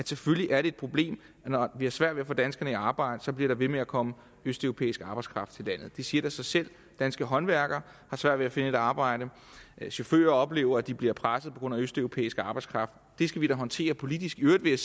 selvfølgelig er et problem vi har svært ved at få danskerne i arbejde og så bliver der ved med at komme østeuropæisk arbejdskraft til landet det siger da sig selv danske håndværkere har svært ved at finde et arbejde chauffører oplever at de bliver presset på grund af østeuropæisk arbejdskraft det skal vi da håndtere politisk i øvrigt vil